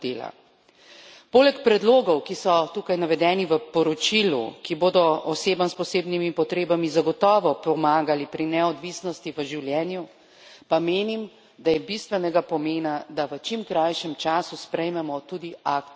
Poleg predlogov, ki so tukaj navedeni v poročilu, ki bodo osebam s posebnimi potrebami zagotovo pomagali pri neodvisnosti v življenju, pa menim, da je bistvenega pomena, da v čim krajšem času sprejmemo tudi akt o dostopnosti.